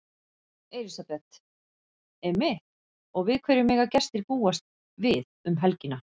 Elísabet: Einmitt og við hverju mega gestir búast við um helgina?